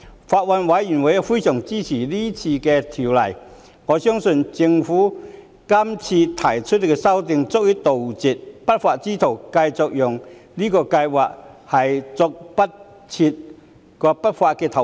法案委員會非常支持有關修訂，我相信政府提出的修訂，足以杜絕不法之徒繼續利用這項計劃作出不法投資。